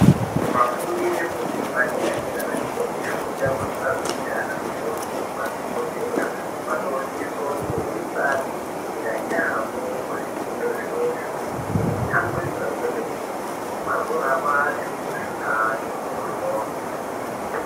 Vafundi vefundo yepadera dera vanenge veifunda kuti vazoita anamukoti nemadhokodheya vanosiso kunge veibaigwinyisira yaamho kuzvifundo zvavozvo veitsamwirira kwemene kuti vazorapa antu zvakati mhoryo.